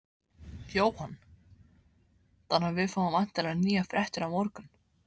Jóhann: Þannig að við fáum væntanlega nýjar fréttir á morgun?